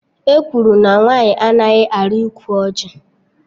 Ekwuru na nwaanyị anaghị arị ukwu ọjị